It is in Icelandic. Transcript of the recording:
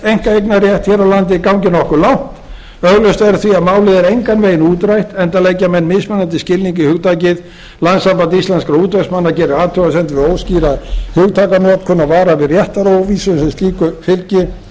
einkaeignarrétt hér á landi gangi nokkuð langt augljóst er því að málið er engan veginn útrætt enda leggja menn mismunandi skilning í hugtakið landssamband íslenskra útvegsmanna gerir athugasemdir við óskýra hugtakanotkun og varar við réttaróvissu sem slíku fylgi samorka